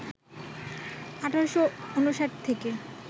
১৮৫৯ থেকে